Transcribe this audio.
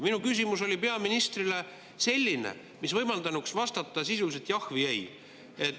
Minu küsimus peaministrile oli selline, mis võimaldanuks vastata sisuliselt jah või ei.